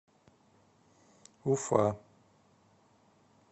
уфа